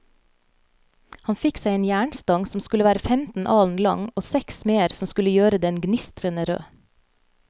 Han fikk seg en jernstang som skulle være femten alen lang, og seks smeder som skulle gjøre den gnistrende rød.